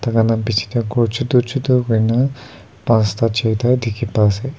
tai kan laga biche tey gor choto choto hoina panchta choita dikhi pai ase.